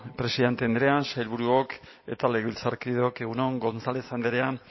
presidente andrea sailburuok eta legebiltzarkideok egun on gonzález andrea